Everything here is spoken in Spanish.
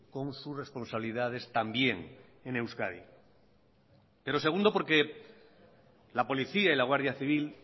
con sus responsabilidades también en euskadi pero segundo porque la policía y la guardia civil